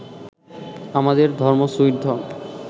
আমাদের ধর্ম সুইট ধর্ম